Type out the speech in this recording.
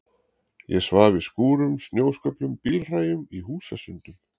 Ég svaf í skúrum, snjósköflum, bílhræjum, í húsasundum.